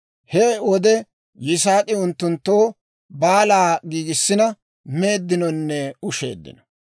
He wode Yisaak'i unttunttoo baalaa giigissina, meeddinonne usheeddino.